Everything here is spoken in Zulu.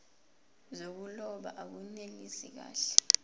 zokuloba akunelisi kahle